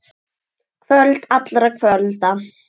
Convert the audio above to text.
Kvöld allra kvölda.